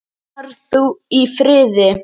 Far þú í friði.